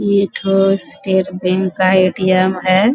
इ एकठो state bank का ए.टी.एम. है।